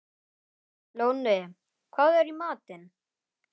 Lóni, hvað er í matinn?